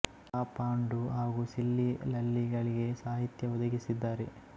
ಪ ಪಾಂಡು ಹಾಗು ಸಿಲ್ಲಿ ಲಲ್ಲಿ ಗಳಿಗೆ ಸಾಹಿತ್ಯ ಒದಗಿಸಿದ್ದಾರೆ